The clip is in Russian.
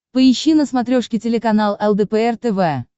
поищи на смотрешке телеканал лдпр тв